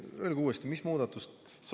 Öelge uuesti, mis muudatuse kohta te küsisite.